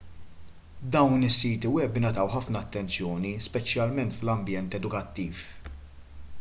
dawn is-siti web ingħataw ħafna attenzjoni speċjalment fl-ambjent edukattiv